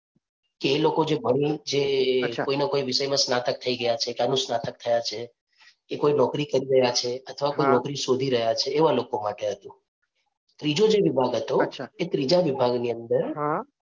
એ લોકો જે ભણી જે વિષયમાં સ્નાતક થઈ ગયા છે અનુસ્નાતક થયા છે એ કોઈ નોકરી કરી રહ્યા છે અથવા નોકરી સોધી રહ્યા છે એવા લોકો માટે હતું. ત્રીજો જે વિભાગ હતો એ ત્રીજા વિભાગ ની અંદર